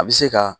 A bɛ se ka